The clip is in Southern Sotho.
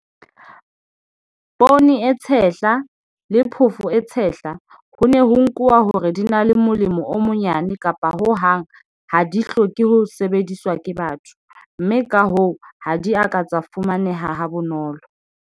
Poone e tshehla le phofo e tshehla ho ne ho nkuwa hore di na le molemo o monyane kapa ho hang ha di hloke ho sebediswa ke batho, mme ka hoo ha di a ka tsa fumaneha habonolo.